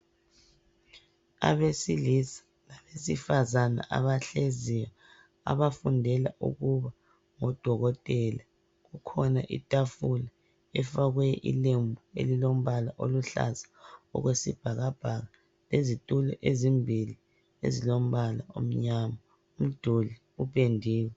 Abesilisa labesifazana abahlezi abafundela ukuba ngodokotela kukhona itafula efakwe ilembu elilokumhlophe elilombala oluhlaza okwesibhakabhaka izitulo ezimbili ezilombala omnyama umduli upendiwe.